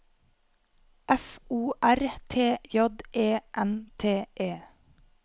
F O R T J E N T E